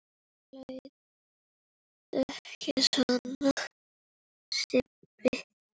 Æ, láttu ekki svona Sibbi